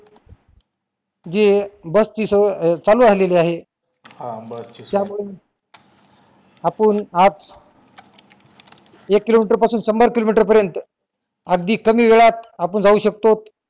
जी अं बस सोय चालू झालेली आहे त्यामुळून आपुन आज एक किलोमीटर ते शंभर किलोमीटर अगदी कमी वेळात आपुन जाऊ शकतो